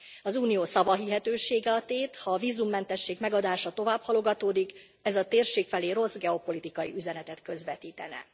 Az Unió szavahihetősége a tét, ha a vízummentesség megadása tovább halogatódik, ez a térség felé rossz geopolitikai üzenetet közvetítene.